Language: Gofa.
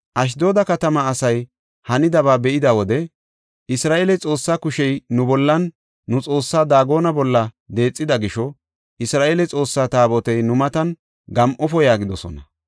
Ashdooda katamaa asay hanidaba be7ida wode, “Isra7eele Xoossaa kushey nu bollanne nu xoossaa Daagone bolla deexida gisho, Isra7eele Xoossaa Taabotey nu matan gam7ofo” yaagidosona.